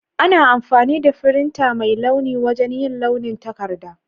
Ana amfani da firinta mai launi wajen yin launin takarda.